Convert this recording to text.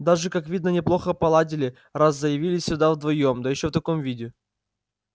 даже как видно неплохо поладили раз заявились сюда вдвоём да ещё в таком виде